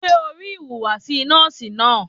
Ṣẹ́ o rí ìhùwàsí nọ́ọ̀sì náà?